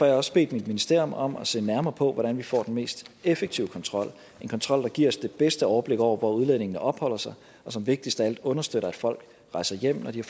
jeg også bedt mit ministerium om at se nærmere på hvordan vi får den mest effektive kontrol en kontrol der giver os det bedste overblik over hvor udlændingene opholder sig og som vigtigst af alt understøtter at folk rejser hjem når de